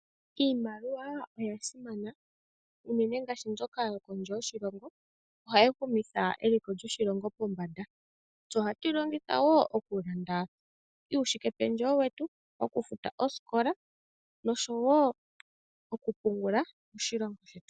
Iimaliwa oya simana, unene ngaashi ndjoka yokondje yoshilongo ohaya kumitha eliko lyoshilongo pombada, yo ohatuyi longithawoo okulanda uushike pendjewo wetu, okufuta oskola noshowo okupungula moshilongo shetu.